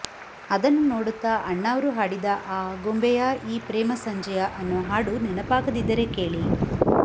ಅದನ್ನು ನೋಡುತ್ತಾ ಅಣ್ಣಾವ್ರು ಹಾಡಿದ ಆಗುಂಬೆಯಾ ಈ ಪ್ರೇಮ ಸಂಜೆಯಾ ಅನ್ನೋ ಹಾಡು ನೆನಪಾಗದಿದ್ದರೆ ಕೇಳಿ